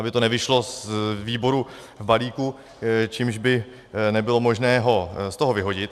Aby to nevyšlo z výboru v balíku, čímž by nebylo možné ho z toho vyhodit.